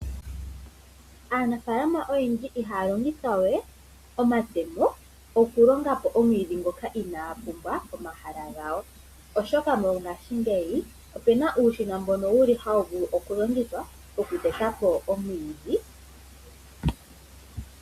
Aanafaalama oyendji ihaya longitha we omatemo okulonga po omwiidhi ngoka inaagu uka pomaha gawo, oshoka mongaashingeyi opena uushina mbono wuli hawu vulu oku longithwa okuteta po omwiidhi.